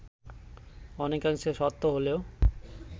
অনেকাংশে সত্য হলেও